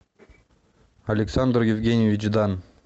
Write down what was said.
александр евгеньевич дан